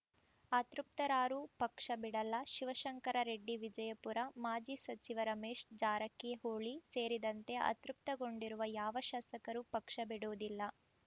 ಅತೃಪ್ತರಾರೂ ಪಕ್ಷ ಬಿಡಲ್ಲ ಶಿವಶಂಕರ ರೆಡ್ಡಿ ವಿಜಯಪುರ ಮಾಜಿ ಸಚಿವ ರಮೇಶ್‌ ಜಾರಕಿಹೊಳಿ ಸೇರಿದಂತೆ ಅತೃಪ್ತಗೊಂಡಿರುವ ಯಾವ ಶಾಸಕರೂ ಪಕ್ಷ ಬಿಡುವುದಿಲ್ಲ